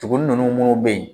Tugun ninnu minnu bɛ yen